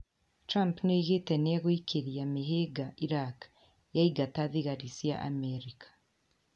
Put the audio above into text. Trump nĩ oigĩte nĩ egũĩkĩrĩra mĩhĩnga Iraq yaingata thigari cia Amerika.